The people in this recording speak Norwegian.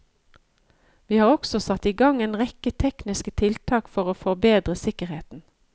Vi har også satt i gang en rekke tekniske tiltak for å forbedre sikkerheten.